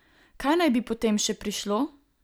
Kaj naj bi potem še prišlo?